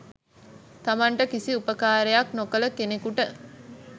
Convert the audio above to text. තමන්ට කිසි උපකාරයක් නොකළ කෙනකුට